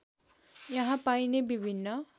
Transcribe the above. यहाँ पाइने विभिन्न